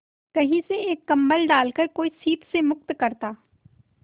कहीं से एक कंबल डालकर कोई शीत से मुक्त करता